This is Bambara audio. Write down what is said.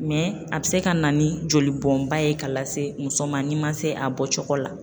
Mɛ a bɛ se ka na ni jolibɔnba ye ka lase muso ma ni ma se a bɔ cogo la.